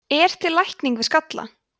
er til lækning við skalla